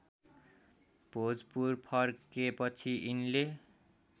भोजपुर फर्केपछि यिनले